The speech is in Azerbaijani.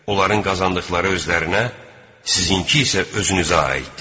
Onların qazandıqları özlərinə, sizinki isə özünüzə aiddir.